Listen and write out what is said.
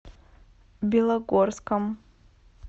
белогорском